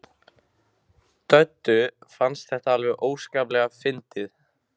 Döddu fannst þetta alveg óskaplega fyndið.